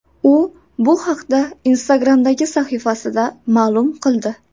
U bu haqda Instagram’dagi sahifasida ma’lum qildi .